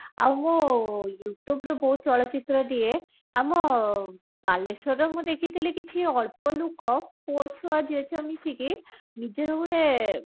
ଆଉ ମୁଁ youtube ରୁ ବହୁତ ଚଳଚିତ୍ର ଦିଏ ଆମ ବାଲେଶ୍ବରର ମୁଁ ଦେଖିଥିଲି କିଛି ଅଳ୍ପ ଲୁକ ପୁଅଛୁଆ ଝିଅଛୁଆ ମିସିକି ନିଜର ଗୋଟେ